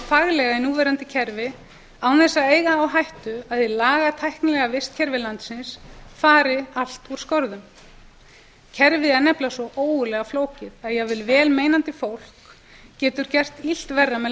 faglega í núverandi kerfi án þess að eiga á hættu að hið lagatæknilega vistkerfi landsins fari allt úr skorðum kerfið er nefnilega svo ógurlega flókið að jafnvel vel meinandi fólk getur gert illt verra með